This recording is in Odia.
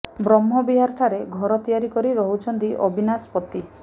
ବ୍ରହ୍ମବିହାର ଠାରେ ଘର ତିଆରି କରି ରହୁଛନ୍ତି ଅବିନାଶ ପତି